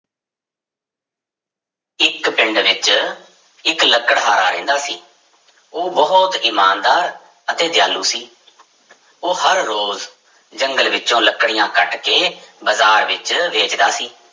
ਇੱਕ ਪਿੰਡ ਵਿੱਚ ਇੱਕ ਲਕੜਹਾਰਾ ਰਹਿੰਦਾ ਸੀ, ਉਹ ਬਹੁਤ ਇਮਾਨਦਾਰ ਅਤੇ ਦਿਆਲੂ ਸੀ ਉਹ ਹਰ ਰੋਜ਼ ਜੰਗਲ ਵਿੱਚੋਂ ਲੱਕੜੀਆਂ ਕੱਟ ਕੇ ਬਾਜ਼ਾਰ ਵਿੱਚ ਵੇਚਦਾ ਸੀ।